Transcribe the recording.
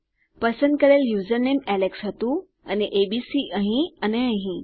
પસંદ કરેલ username Alex હતું અને એબીસી અહીં અને અહીં